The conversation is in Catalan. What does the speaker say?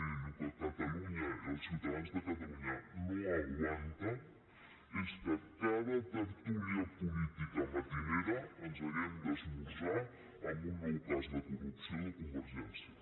miri el que catalunya i els ciutadans de catalunya no aguanten és que a cada tertúlia política matinera hàgim d’esmorzar amb un nou cas de corrupció de convergència